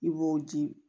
I b'o di